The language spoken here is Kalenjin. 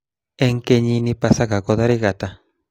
Eng kenyin pasaka ko tarik ata